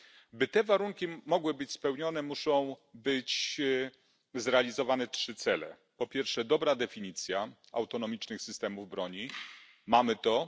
Aby te warunki mogły być spełnione muszą być zrealizowane trzy cele po pierwsze dobra definicja autonomicznych systemów broni mamy to.